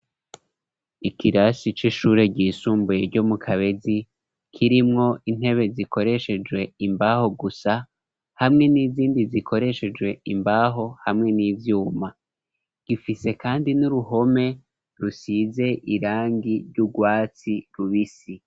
Ikirasi c'ishure, ryisumbuye, ryo mu Kabezi, kirimwo intebe, zikoreshejwe imbaho gusa, hamwe n'izindi, zikoreshejwe imbaho, hamwe n'ivyuma; gifise kandi, n'uruhome, rusize irangi, ry'urwatsi rubisi.